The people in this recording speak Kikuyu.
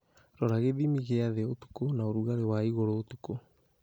Rora gīthimi gīa thī ūtukū na ūrugarī wa igūrū ūtukū